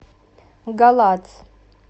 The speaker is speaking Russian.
галац